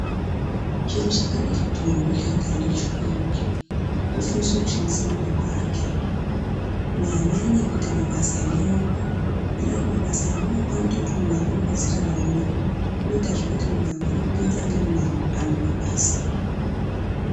Chiro chakanaka kuti munthu wega-wega aende kuchikora ,ofundiswe kushandise maoko ake, kunyanya-nyanya kuita mabasa emaoko, ngendaa yekuti mabasa emaoko anokona kuita kuti munhu akone kudziraramira. Anoitazve kuti. munhu akone kuponza amweni anhu mabasa.